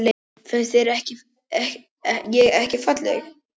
Finnst þér ég ekki falleg?